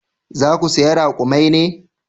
Za ku saya rakumai ne?